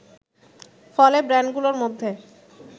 ফলে ব্র্যান্ডগুলোর মধ্যে